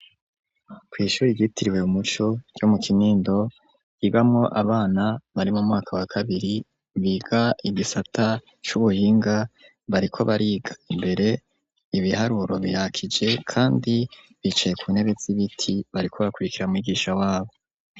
Kw'ishure ryitiriwe umuco ryo mu Kinindo, ryigamwo abana bari mu mwaka wa kabiri, biga igisata c'ubuhinga, bariko bariga imbere ibiharuro birakije kandi bicaye ku ntebe z'ibiti, bariko bakurikira mwigisha wabo.